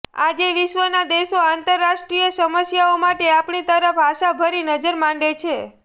આજે વિશ્વના દેશો આંતરરાષ્ટ્રીય સમસ્યાઓ માટે આપણી તરફ આશાભરી નજર માંડે છે